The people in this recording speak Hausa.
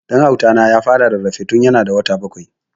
Dan Auta na ya fara rarrafe tun ya na da wata bakwai